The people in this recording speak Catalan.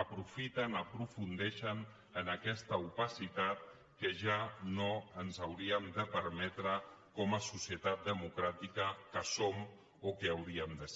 aprofundeixen en aquesta opacitat que ja no ens hauríem de permetre com a societat democràtica que som o que hauríem de ser